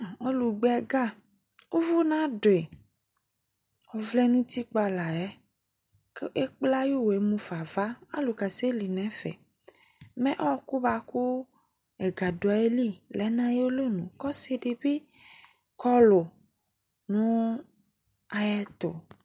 ɔlu gba ɛgă uvu nadui ɔvlɛ nu utikpa layɛ ku ékplé ayu wɛ hafa ava alu kasɛli nu ɛfɛ mɛ ɔku buaku ɛgă duayili lɛ na ayalɔnu kɔ ɔsi di bi kɔlu nu ayɛtu